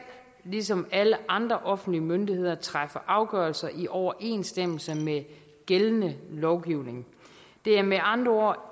ligesom alle andre offentlige myndigheder træffe afgørelser i overensstemmelse med gældende lovgivning det er med andre